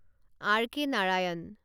R K Narayan